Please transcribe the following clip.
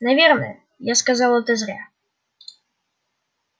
наверное я сказал это зря